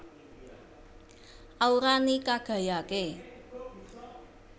Aura ni Kagayake